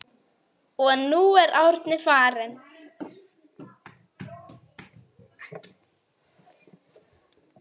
Og nú er Árni farinn.